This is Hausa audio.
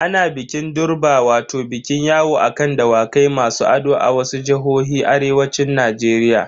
Ana bikin durbar wato bikin yawo a kan Dawakai masu ado a wasu jihohin arewacin Najeriya.